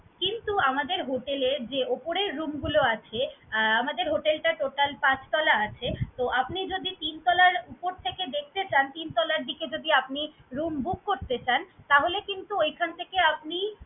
কিন্তু আমাদের hotel এ যে ওপরের room গুলো আছে, আহ আমাদের hotel টা total পাঁচ তলা আছে। তো আপনি যদি তিন তলার উপর থেকে দেখতে চান, তিন তলার দিকে যদি আপনি room book করতে চান, তাহলে কিন্তু ঐখান থেকে আপনি